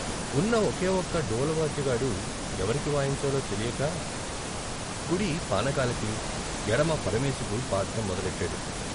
ఉన్న ఒకే ఒక్క డోలువాద్యగాడు ఎవరికి వాయించాలో తెలియక కుడి పానకాలకి ఎడమ పరమేశుకు బాదటం మొదలెట్టాడు.